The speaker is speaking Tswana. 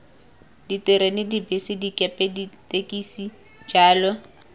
diterena dibese dikepe ditekisi jalo